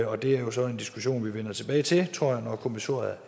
og det er så en diskussion vi vender tilbage til tror jeg når kommissoriet